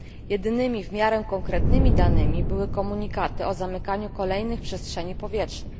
Jedynymi, w miarę konkretnymi danymi, były komunikaty o zamykaniu kolejnych przestrzeni powietrznych.